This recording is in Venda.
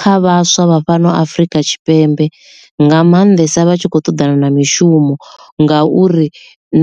kha vhaswa vha fhano afrika tshipembe nga maanḓesa vha tshi khou ṱoḓana na mishumo ngauri